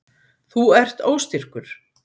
Þú ert óstyrkur.